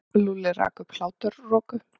Lúlli rak upp hláturroku.